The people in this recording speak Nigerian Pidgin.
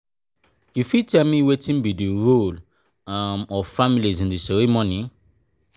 you fit tell me wetin be di role um of families in di ceremony?